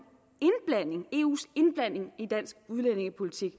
eus indblanding i dansk udlændingepolitik